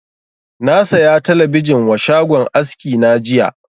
Na saya talabijin wa shagon aski na jiya